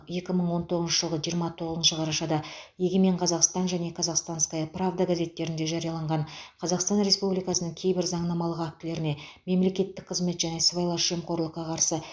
екі мың он тоғызыншы жылғы жиырма тоғызыншы қарашада егемен қазақстан және казахстанская правда газеттерінде жарияланған қазақстан республикасының кейбір заңнамалық актілеріне мемлекеттік қызмет және сыбайлас жемқорлыққа қарсы